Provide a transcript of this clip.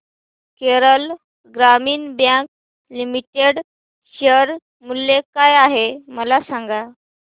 Kerala Gramin bank limited share मूल्य काय आहे मला सांगा